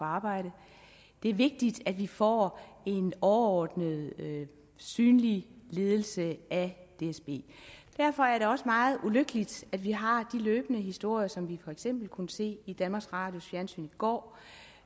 arbejde det er vigtigt at vi får en overordnet synlig ledelse af dsb derfor er det også meget ulykkeligt at vi har de løbende historier som vi for eksempel kunne se i danmarks radios fjernsyn i går